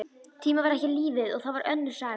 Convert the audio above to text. Tíminn var ekki lífið, og það var önnur saga.